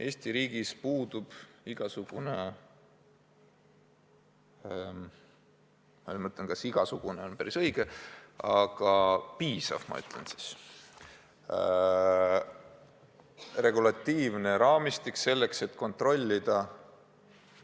Eesti riigis puudub igasugune – vahest "igasugune" pole päris õige sõna, "piisav" on õigem – regulatiivne raamistik selleks, et kontrollida ...